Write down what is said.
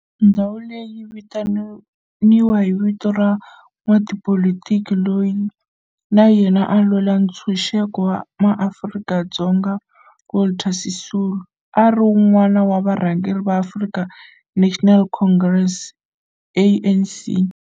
Ndhawu leyi yi vitaniwa hi vito ra n'watipolitiki loyi na yena a lwela ntshuxeko wa maAfrika-Dzonga Walter Sisulu, a ri wun'wana wa varhangeri va African National Congress, ANC.